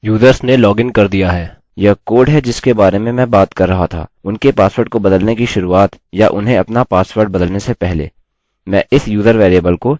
पहले हमें यह जाँचने की आवश्यकता है कि यूजर्स ने लॉगिन कर दिया है यह कोड है जिसके बारे में मैं बात कर रहा था उनके पासवर्ड को बदलने की शुरूआत या उन्हें अपना पासवर्ड बदलने से पहले